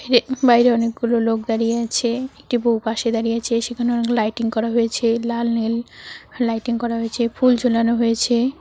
হে বাইরে অনেকগুলো লোক দাঁড়িয়ে আছে একটি বউ পাশে দাঁড়িয়ে আছে সেখানে অনেক লাইটিং করা হয়েছে লাল নীল লাইটিং করা হয়েছে ফুল ঝোলানো হয়েছে।